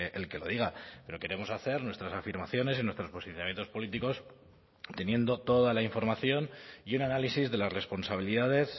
el que lo diga pero queremos hacer nuestras afirmaciones y nuestros posicionamientos políticos teniendo toda la información y un análisis de las responsabilidades